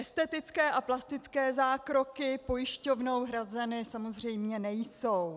Estetické a plastické zákroky pojišťovnou hrazeny samozřejmě nejsou.